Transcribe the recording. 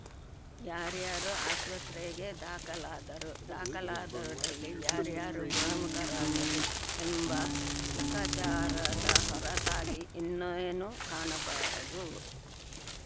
ಯಾರ್ಯಾರೋ ಆಸ್ಪತ್ರೆಗೆ ದಾಖಲಾದರು ದಾಖಲಾದವರಲ್ಲಿ ಯಾರ್ಯಾರು ಗುಣಮುಖರಾದರು ಎಂಬ ಲೆಕ್ಕಾಚಾರದ ಹೊರತಾಗಿ ಇನ್ನೇನೂ ಕಾಣಬರದು